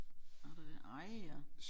Er der det ej ja